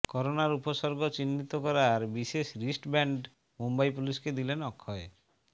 করোনার উপসর্গ চিহ্নিত করার বিশেষ রিস্টব্যান্ড মুম্বই পুলিশকে দিলেন অক্ষয়